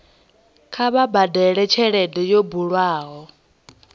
kha vha badele tshelede yo bulwaho